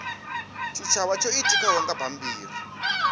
tshitshavha tsho itikaho nga bammbiri